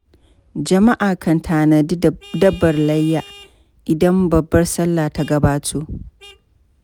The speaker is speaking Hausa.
Jama'a kan tanadi dabbar layya, idan babbar sallah ta gabato.